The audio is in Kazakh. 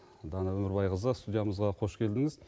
дана өмірбайқызы студиямызға қош келдіңіз